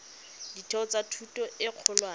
ditheo tsa thuto e kgolwane